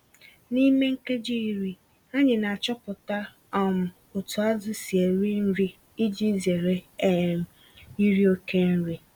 N'ime nkeji iri, anyị n'achọpụta um otú azụ si eri nri iji zere um iri oke nri.